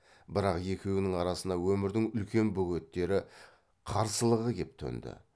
бірақ екеуінің арасына өмірдің үлкен бөгеттері қарсылығы кеп төнді